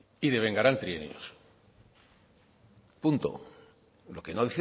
y devengarán trienios punto lo que no